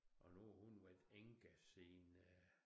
Og nu har hun været enke siden øh